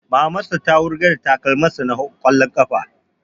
Maman sa ta wurgar da takalmin sa na ƙwallon ƙafa